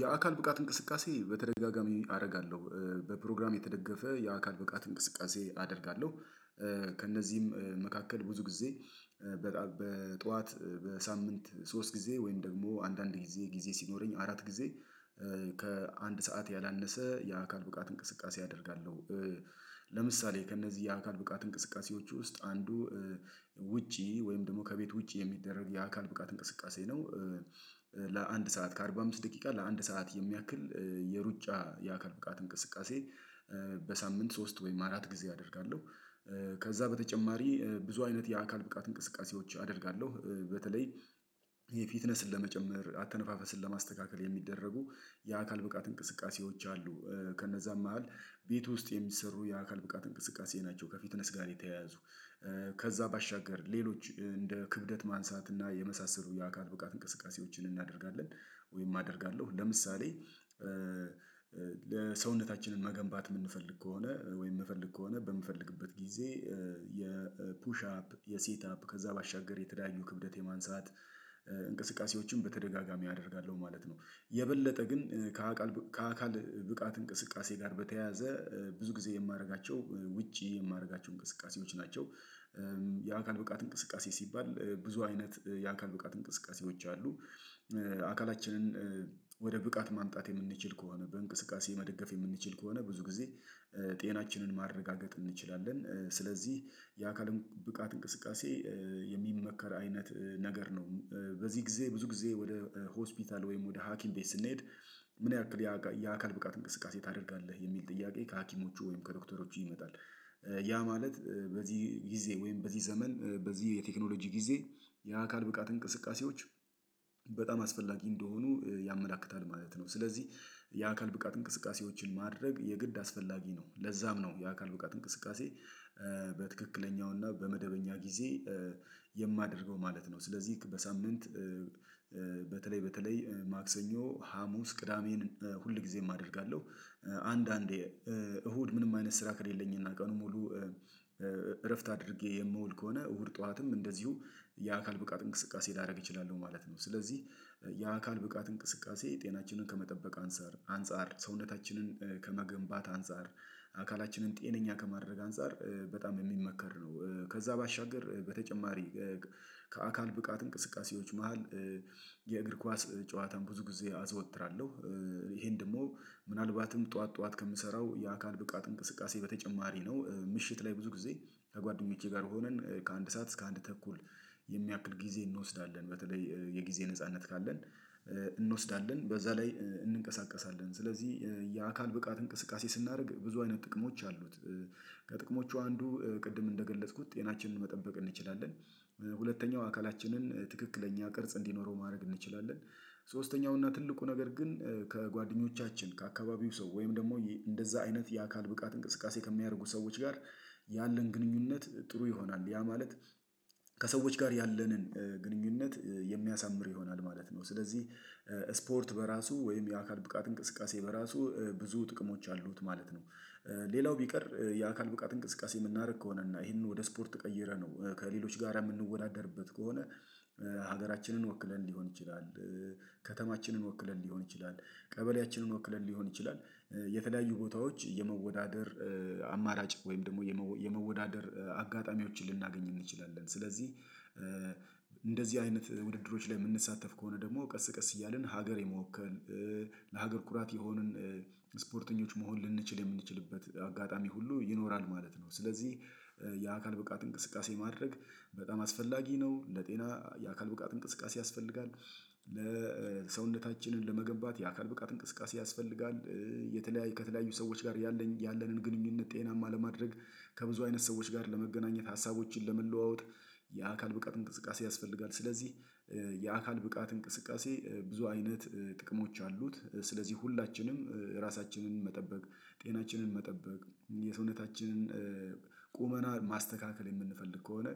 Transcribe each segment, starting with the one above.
የአካል ብቃት እንቅስቃሴ በተደጋጋሚ አረጋለሁ በፕሮግራም የተደገፈ የአካል ብቃት እንቅስቃሴ አደርጋለሁ። ከእነዚህም መካከል ብዙ ጊዜ በጠዋት በሳምንት ሶስት ጊዜ ወይም ደግሞ አንዳንድ ጊዜ ጊዜ ሲኖረኝ አራት ጊዜ ከአንድ ሰዓት ያላነሰ የአካል ብቃት እንቅስቃሴ አደርጋለሁ። ለምሳሌ ከእነዚህ የአካል ብቃት እንቅስቃሴዎች ውስጥ አንዱ ውጪ ወይም ደግሞ ከቤት ውጪ የሚደረግ የአካል ብቃት እንቅስቃሴ ነው ለአንድ ሰዓት ከአርባ አምስት ደቂቃ ለአንድ ሰዓት የሚያክል የሩጫ የአካል ብቃት እንቅስቃሴ በሳምንት ሶስት ወይም አራት ጊዜ አደርጋለሁ። ከዛ በተጨማሪ ብዙ አይነት የአካል ብቃት እንቅስቃሴዎች አደርጋለሁ በተለይ የፊትነስን ለመጨመር አተነፋፈስን ለማስተካከል የሚደረጉ የአካል ብቃት እንቅስቃሴዎች አሉ ከነዛም መሃል ቤት ውስጥ የሚሰሩ የአካል ብቃት እንቅስቃሴ ናቸው ከፊትነስ ጋር የተያያዙ ከዛ ባሻገር ሌሎች እንደ ክብደት ማንሳት እና የመሳሰሉ የአካል ብቃት እንቅስቃሴዎችን እናደርጋለን ወይም አደርጋለሁ። ለምሳሌ ለሰውነታችንን መገንባት የምንፈልግ ከሆነ ወይም የምፈልግ ከሆነ በምፈልግበት ጊዜ የፑሽ አፕ የሴት አፕ ከዛ ባሻገር የተለያዩ ክብደት የማንሳት እንቅስቃሴዎችን በተደጋጋሚ አደርጋለሁ ማለት ነው። የበለጠ ግን ከአካል ከአካል ብቃት እንቅስቃሴ ጋር በተያያዘ ብዙ ጊዜ የማደርጋቸው ውጪ የማደርጋቸው እንቅስቃሴዎች ናቸው። የአካል ብቃት እንቅስቃሴ ሲባል ብዙ አይነት የአካል ብቃት እንቅስቃሴዎች አሉ አካላችንን ወደ ብቃት ማምጣት የምንችል ከሆነ በእንቅስቃሴ መደገፍ የምንችል ከሆነ ብዙ ጊዜ ጤናችንን ማረጋገጥ እንችላለን። ስለዚህ የአካል ብቃት እንቅስቃሴ የሚመከር አይነት ነገር ነው። በዚህ ጊዜ ብዙ ጊዜ ወደ ሆስፒታል ወይም ወደ ሀኪም ቤት ስንሄድ ምን ያክል የአካል ብቃት እንቅስቃሴ ታደርጋለህ የሚል ጥያቄ ከሀኪሞቹ ወይም ከዶክተሮቹ ይመጣል? ያ ማለት በዚህ ጊዜ ወይም በዚህ ዘመን በዚህ የቴክኖሎጂ ጊዜ የአካል ብቃት እንቅስቃሴዎች በጣም አስፈላጊ እንደሆኑ ያመላክታል ማለት ነው። ስለዚህ የአካል ብቃት እንቅስቃሴዎችን ማድረግ የግድ አስፈላጊ ነው ለዛም ነው የአካል ብቃት እንቅስቃሴ በትክክለኛውና በመደበኛ ጊዜ የማደርገው ማለት ነው። ስለዚህ በሳምንት በተለይ በተለይ ማክሰኞ ሀሙስ ቅዳሜን ሁልጊዜም አደርጋለሁ አንዳንዴ እሁድ ምንም አይነት ስራ ከሌለኝና ቀኑን ሙሉ እረፍት አድርጌ የምውል ከሆነ እሁድ ጠዋትም እንደዚሁ የአካል ብቃት እንቅስቃሴ ላደርግ እችላለሁ ማለት ነው። ስለዚህ የአካል ብቃት እንቅስቃሴ ጤናችንን ከመጠበቅ አንፃር አንፃር ሰውነታችንን ከመገንባት አንፃር አካላችንን ጤነኛ ከማድረግ አንፃር በጣም የሚመከር ነው። ከዛ ባሻገር በተጨማሪ ከአካል ብቃት እንቅስቃሴዎች መሃል የእግር ኳስ ጨዋታን ብዙ ጊዜ አዘወትራለሁ ይሄን ደግሞ ምናልባትም ጠዋት ጠዋት ከምሰራው የአካል ብቃት እንቅስቃሴ በተጨማሪ ነው ምሽት ላይ ብዙ ጊዜ ከጓደኞቼ ጋር ሆነን ከአንድ ሰዓት እስከ አንድ ተኩል የሚያክል ጊዜ እንወስዳለን በተለይ የጊዜ ነጻነት ካለን እንወስዳለን በዛ ላይ እንንቀሳቀሳለን ስለዚህ የአካል ብቃት እንቅስቃሴ ስናደርግ ብዙ አይነት ጥቅሞች አሉት። ከጥቅሞቹ አንዱ ቅድም እንደገለጽኩት ጤናችንን መጠበቅ እንችላለን። ሁለተኛው አካላችንን ትክክለኛ ቅርጽ እንዲኖረው ማድረግ እንችላለን። ሶስተኛው እና ትልቁ ነገር ግን ከጓደኞቻችን ከአካባቢው ሰው ወይም ደግሞ እንደዛ አይነት የአካል ብቃት እንቅስቃሴ ከሚያደርጉ ሰዎች ጋር ያለን ግንኙነት ጥሩ ይሆናል ያ ማለት ከሰዎች ጋር ያለንን ግንኙነት የሚያሳምር ይሆናል ማለት ነው ስለዚህ ስፖርት በራሱ ወይም የአካል ብቃት እንቅስቃሴ በራሱ ብዙ ጥቅሞች አሉት ማለት ነው። ሌላው ቢቀር የአካል ብቃት እንቅስቃሴ የምናደርግ ከሆነ እና ይሄንን ወደ ስፖርት ቀይረነው ከሌሎች ጋራ የምንወዳደርበት ከሆነ ሀገራችንን ወክለን ሊሆን ይችላል። ከተማችንን ወክለን ሊሆን ይችላል። ቀበሌያችንን ወክለን ሊሆን ይችላል። የተለያዩ ቦታዎች የመወዳደር አማራጭ ወይም ደግሞ የመወዳደር አጋጣሚዎችን ልናገኝ እንችላለን ስለዚህ። እንደዚህ አይነት ውድድሮች ላይ የምንሳተፍ ከሆነ ደግሞ ቀስ ቀስ እያልን ሀገር የመወከል ለሀገር ኩራት የሆንን ስፖርተኞች መሆን ልንችል የምንችልበት አጋጣሚ ሁሉ ይኖራል ማለት ነው። ስለዚህ የአካል ብቃት እንቅስቃሴ ማድረግ በጣም አስፈላጊ ነው። ለጤና የአካል ብቃት እንቅስቃሴ ያስፈልጋል ለሰውነታችንን ለመገንባት የአካል ብቃት እንቅስቃሴ ያስፈልጋል። የተለያዩ ከተለያዩ ሰዎች ጋር ያለንን ግንኙነት ጤናማ ለማድረግ ከብዙ አይነት ሰዎች ጋር ለመገናኘት ሀሳቦችን ለመለዋወጥ የአካል ብቃት እንቅስቃሴ ያስፈልጋል። ስለዚህ የአካል ብቃት እንቅስቃሴ ብዙ አይነት ጥቅሞች አሉት። ስለዚህ ሁላችንም ራሳችንን መጠበቅ ጤናችንን መጠበቅ የሰውነታችንን ቁመና ማስተካከል የምንፈልግ ከሆነ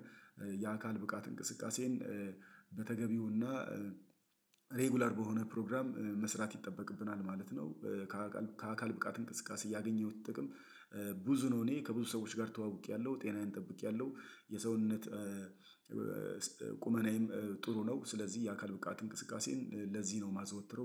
የአካል ብቃት እንቅስቃሴን በተገቢውና ሬጉላር በሆነ ፕሮግራም መስራት ይጠበቅብናል ማለት ነው። ከአካል ከአካል ብቃት እንቅስቃሴ ያገኘሁት ጥቅም ብዙ ነው እኔ ከብዙ ሰዎች ጋር ተዋውቄያለሁ ጤናዬን ጠብቄያለሁ የሰውነት ቁመናዬም ጥሩ ነው። ስለዚህ የአካል ብቃት እንቅስቃሴን ለዚህ ነው የማዘወትረው